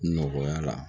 Nɔgɔya la